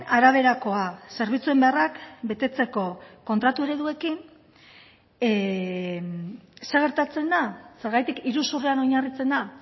araberakoa zerbitzuen beharrak betetzeko kontratu ereduekin zer gertatzen da zergatik iruzurrean oinarritzen da